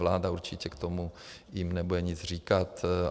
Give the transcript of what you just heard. Vláda určitě k tomu jim nebude nic říkat.